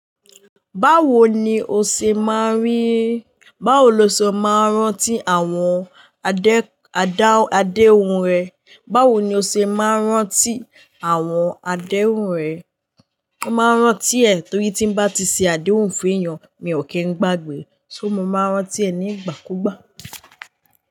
Báwo ni o ṣe máa rí, báwo lo ṣe máa rántí àwọn adé, adá, adéhun rẹ? Báwo ni o ṣe máa rántí àwọn adéhun rẹ? Mo máa n rántí ẹ̀ torí tí n bá ti se adéhun fún èèyàn mi ò kí n gbàgbé, so mo máa n rántí ẹ̀ ní ìgbàkúgbà.